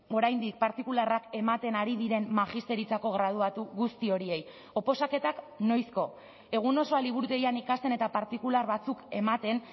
oraindik partikularrak ematen ari diren magisteritzako graduatu guzti horiei oposaketak noizko egun osoa liburutegian ikasten eta partikular batzuk ematen